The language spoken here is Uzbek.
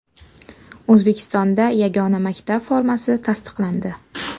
O‘zbekistonda yagona maktab formasi tasdiqlandi.